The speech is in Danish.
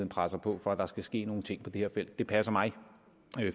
presser på for at der skal ske nogle ting på det her felt det passer mig